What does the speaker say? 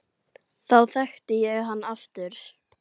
Þá þekkti ég hann aftur